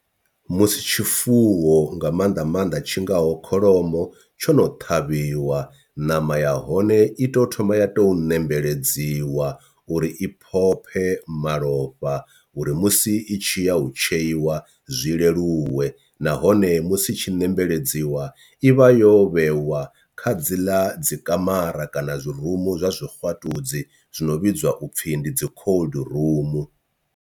Musi tshifuwo nga maanḓa maanḓa tshingaho kholomo tshono ṱhavhiwa ṋama ya hone i tou thoma ya tou nembeledziwa uri i phophe malofha uri musi i tshi ya u tsheiwa zwi leluwe nahone musi tshi nembeledziwa i vha yo vhewa kha dzi ḽa dzi kamara kana zwi rumu zwa zwixwatudzi zwi no vhidzwa upfhi ndi dzi cold rumu.